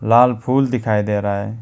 लाल फूल दिखाई दे रहा है।